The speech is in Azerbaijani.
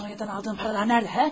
Sonya'dan aldığım paralar nədə hə?